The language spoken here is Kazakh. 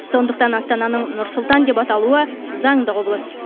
сондықтан астананың нұр сұлтан деп аталуы заңды құбылыс